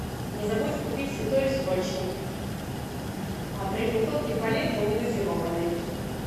не забудь купить святой источник три бутылки по литру негазированный